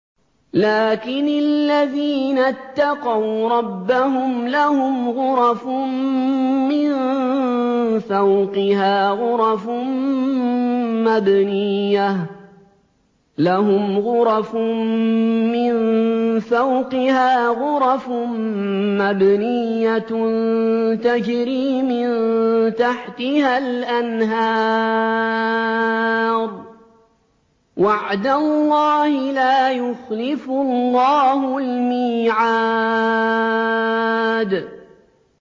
لَٰكِنِ الَّذِينَ اتَّقَوْا رَبَّهُمْ لَهُمْ غُرَفٌ مِّن فَوْقِهَا غُرَفٌ مَّبْنِيَّةٌ تَجْرِي مِن تَحْتِهَا الْأَنْهَارُ ۖ وَعْدَ اللَّهِ ۖ لَا يُخْلِفُ اللَّهُ الْمِيعَادَ